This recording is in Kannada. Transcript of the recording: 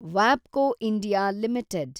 ವಾಬ್ಕೊ ಇಂಡಿಯಾ ಲಿಮಿಟೆಡ್